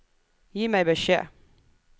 Gi meg beskjed